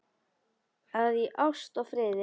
að í ást og friði